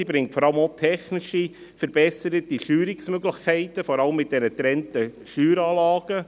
Sie bringt vor allem auch technische, verbesserte Steuerungsmöglichkeiten, vor allem mit den getrennten Steueranlagen.